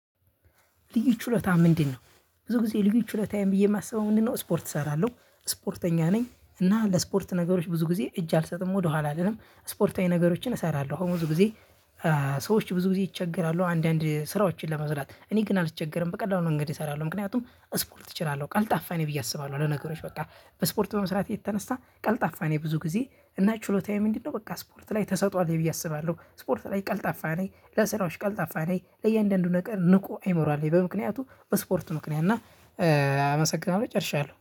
ልዩ ችሎታ ምንድነው ብዙ ጊዜ ልዩ ችሎታዬ ብዬ የማስበው ምንድነው? ስፖርት እሰራለሁ ስፖርተኛ ነኝ እና ለስፖርት ነገሮች ብዙ ጊዜ እጅ አልሰጥም ወደኋላ አልልም ስፖርታዊ ነገሮችን እሰራለሁ አሁን ብዙ ጊዜ። ሰዎች ብዙ ጊዜ ይቸገራሉ አንዳንድ ስራዎችን ለመስራት እኔ ግን አልቸገርም በቀላሉ መንገድ እሰራለሁ። ምክንያቱም ስፖርት እችላለሁ ቀልጣፋ እኔ ብዬ አስባለሁ አለ ነገሮች በቃ በስፖርቱ በመስራት የተነሳ ቀልጣፋ ነው። ብዙ ጊዜ እና ችሎታዬ ምንድነው በቃ ስፖርት ላይ ተሰጥኦ አለኝ ብዬ አስባለሁ። ስፖርት ላይ ቀልጣፋ ነኝ ለስራዎች ቀልጣፋ ነኝ ለእያንዳንዱ ነገር ንቁ አይምሮ አለኝ በምክንያቱ በስፖርቱ ምክንያት እና አመሰግናለሁ ጨርሻለሁ